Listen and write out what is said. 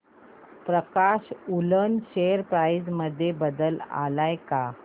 प्रकाश woollen share price मध्ये बदल आलाय का